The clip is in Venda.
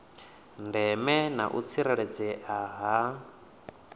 ndeme na u tsireledzea ha